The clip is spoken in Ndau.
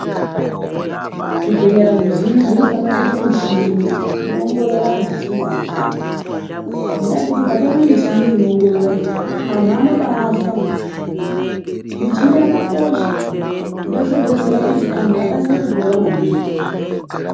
Zvibhedhlera zvizhinji zvinofana kuita michini inoongorora antu kana achinge arwara. Ngendaa yekuti ikatama michini inoongorora, antu anobaafa. Michini yakakosha ngendaa yekuti inodetsera kuti antu akasire kupora maningi.